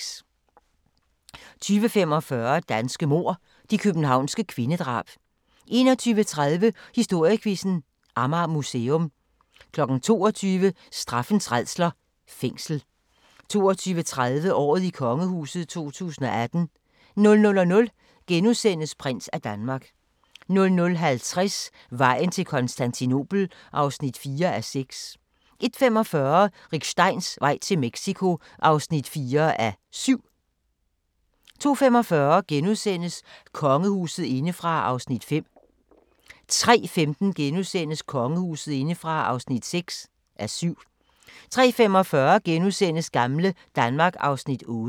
20:45: Danske mord – de københavnske kvindedrab 21:30: Historiequizzen: Amager Museum 22:00: Straffens rædsler – Fængsel 22:30: Året i kongehuset 2018 00:00: Prins af Danmark * 00:50: Vejen til Konstantinopel (4:6) 01:45: Rick Steins vej til Mexico (4:7) 02:45: Kongehuset indefra (5:7)* 03:15: Kongehuset indefra (6:7)* 03:45: Gamle Danmark (Afs. 8)*